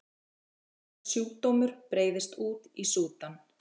Sjaldgæfur sjúkdómur breiðist út í Súdan